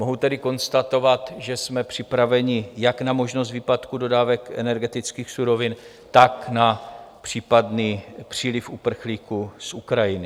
Mohu tedy konstatovat, že jsme připraveni jak na možnost výpadku dodávek energetických surovin, tak na případný příliv uprchlíků z Ukrajiny.